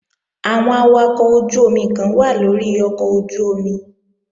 Àwọn awakọ̀ ojú-omi kan wà lórí ọkọ̀ ojú-omi